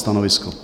Stanovisko? .